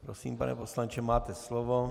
Prosím, pane poslanče, máte slovo.